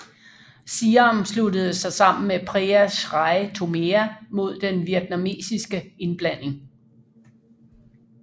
Siam sluttede sig sammen med Prea Srey Thomea mod den vietnamesiske indblanding